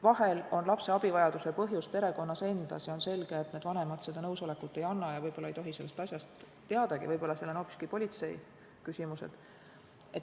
Vahel on lapse abivajaduse põhjus perekonnas endas ja on selge, et need vanemad nõusolekut ei anna ja võib-olla ei tohi sellest asjast teadagi, võib-olla seal on hoopiski politseiküsimused.